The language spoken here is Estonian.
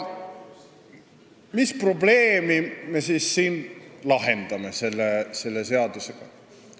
Mis probleemi me siis siin selle seadusega lahendame?